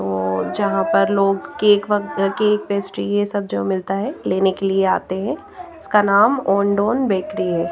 तोोो जहाँ पर लोग केक वग केक पेस्ट्री ये सब जो मिलता है लेने के लिए आते हैं इसका नाम ओनडोन बेकरी है।